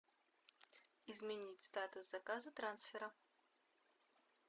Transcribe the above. изменить статус заказа трансфера